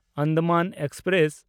Andaman express